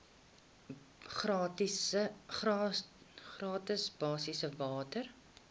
gratis basiese water